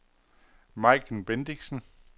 Majken Bendixen